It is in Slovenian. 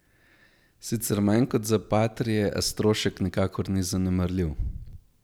Sicer manj kot za patrie, a strošek nikakor ni zanemarljiv.